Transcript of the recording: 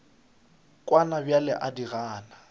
kwana bjale o di gana